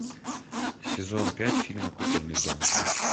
сезон пять фильма кукольный дом